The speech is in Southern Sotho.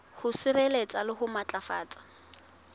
ho sireletsa le ho matlafatsa